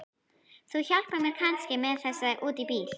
Þú hjálpar mér kannski með þessa út í bíl?